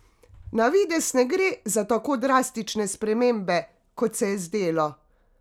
Navidez ne gre za tako drastične spremembe, kot se je zdelo?